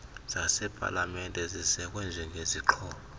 zasepalamente zisekwe njengezixhobo